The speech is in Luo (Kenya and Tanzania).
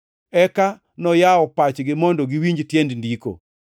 Eka noyawo pachgi mondo giwinj tiend Ndiko.